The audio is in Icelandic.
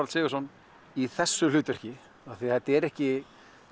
Ladda í þessu hlutverki af því að þetta er ekki